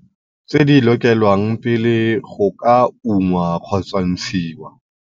Tse di lokelwang pele go ka ungwa-ntshiwa.